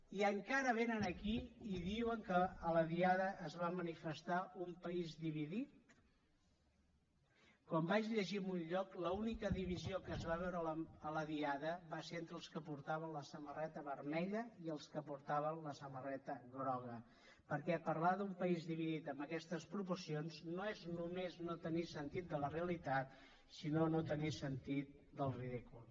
i encara vénen aquí i diuen que a la diada es va manifestar un país dividit com vaig llegir en un lloc l’única divisió que es va veure a la diada va ser entre els que portaven la samarreta vermella i els que portaven la samarreta groga perquè parlar d’un país dividit amb aquestes proporcions no és només no tenir sentit de la realitat sinó no tenir sentit del ridícul